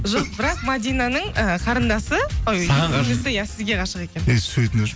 жоқ бірақ мәдинаның і қарындасы иә сізге ғашық екен өй сөйтіңдерші